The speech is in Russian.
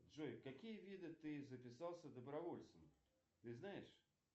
джой в какие виды ты записался добровольцем ты знаешь